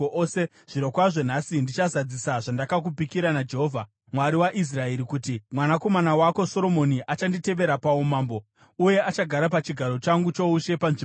zvirokwazvo, nhasi ndichazadzisa zvandakakupikira naJehovha, Mwari waIsraeri kuti, ‘Mwanakomana wako Soromoni achanditevera paumambo, uye achagara pachigaro changu choushe panzvimbo pangu.’ ”